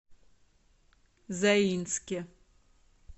заинске